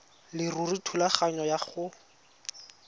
leruri thulaganyo ya go